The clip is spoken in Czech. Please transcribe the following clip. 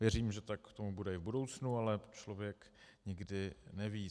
Věřím, že tak tomu bude i v budoucnu, ale člověk nikdy neví.